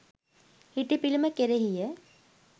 හිටි පිළිම කෙරෙහිය.